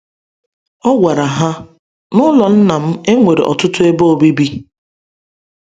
O gwara ha: “N’ụlọ Nna m, e nwere ọtụtụ ebe obibi.